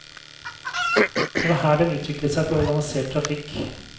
Det var her den utviklet seg til organisert trafikk.